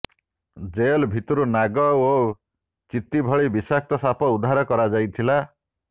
jail ଭିତରୁ ନାଗ ଓ ଚିତି ଭଳି ବିଷାକ୍ତ ସାପ ଉଦ୍ଧାର କରାଯାଇଥିଲା